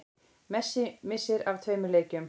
Messi missir af tveimur leikjum